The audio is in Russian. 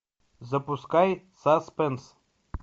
запускай саспенс